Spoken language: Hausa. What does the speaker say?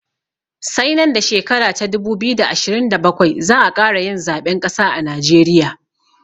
Sai nan da shekara ta dubu biyu da ashirin da bakwai za'a ƙara yin zaɓen ƙasa a najeriya